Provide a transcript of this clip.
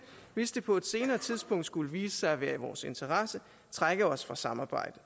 hvis det på et senere tidspunkt skulle vise sig at være i vores interesse trække os fra samarbejdet